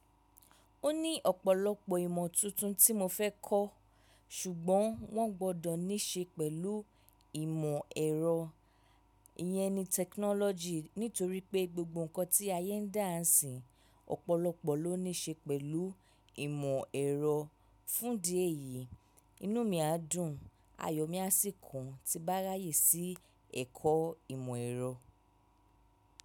Ó ní ọ̀pọ̀lọpọ̀ ìmọ̀ tuntun tí mo fẹ́ kọ́ ṣùgbọ́n wọ́n gbọdọ̀ ní ṣe pẹ̀lú ìmọ̀ ẹ̀rọ, ìyẹ́ ni tẹkinọ́lọ́jì nítorí pé gbogbo nǹkan tí ayé ń dà ńsìín ọ̀pọ̀lọpọ̀ ló ní ṣe pẹ̀lú ìmọ̀ ẹ̀rọ. Fúndìí èyí, inú mi á dùn, ayọ̀ mi á sì kún ti n bá ráyè sí ẹ̀kọ́ ìmọ̀ ẹ̀rọ.